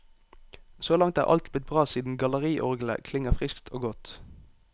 Så langt er alt blitt bra siden galleriorglet klinger friskt og godt.